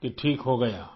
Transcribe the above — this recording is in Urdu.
کہ ٹھیک ہو گیا